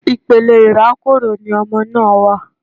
Ipele irakoro ni ọmọ náà wa